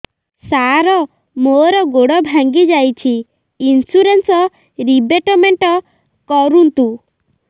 ସାର ମୋର ଗୋଡ ଭାଙ୍ଗି ଯାଇଛି ଇନ୍ସୁରେନ୍ସ ରିବେଟମେଣ୍ଟ କରୁନ୍ତୁ